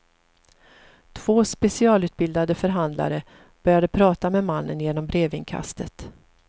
Två specialutbildade förhandlare började prata med mannen genom brevinkastet.